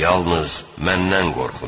Yalnız məndən qorxun!